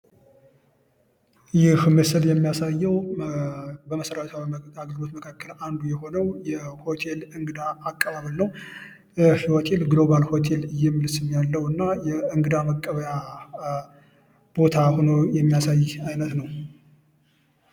የምስል የሚያሳየው በመሰረተ ልማቶች መካከል ወደ ሆኖ የሆቴል እንግዳ አቀባበል የሆቴል ግሎባል ሆቴል የሚል ስም ያለው እና የእንግዳ መቀበያ ቦታ ሆኖ የሚያሳይ ቦታ ነው።